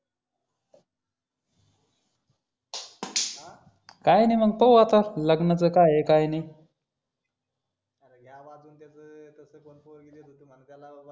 हा काय नि मग पाहू आता लाग्ननाच काय हे काय नी अरे घ्या वाजवून त्याच तसं पण कोण पोरगी देत होत तुम्हाला त्याला